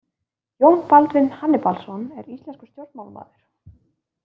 Jón Baldvin Hannibalsson er íslenskur stjórnmálamaður.